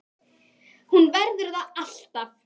Hún verður það alltaf